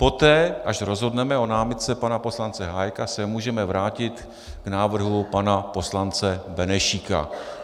Poté, až rozhodneme o námitce pana poslance Hájka, se můžeme vrátit k návrhu pana poslance Benešíka.